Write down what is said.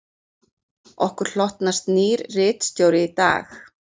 Okkur hlotnast nýr ritstjóri í dag